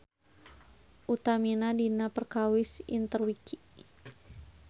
Utamina dina perkawis Interwiki.